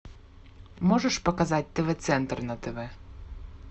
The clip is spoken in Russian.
можешь показать тв центр на тв